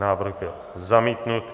Návrh byl zamítnut.